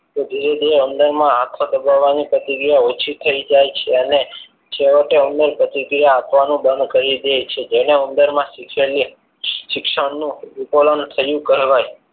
તે ધીરે ધીરે ઉંદરમાં કામ કરવાની પ્રતિક્રિયા ઓછી થઈ જાય છે અને છેવટે ઉંદર પ્રતિક્રિયા આપવાની બંધ કરી દે છે જેને ઉંદરમાં શીખેલી શિક્ષણનું ઉત્કલન થયું કહેવાય.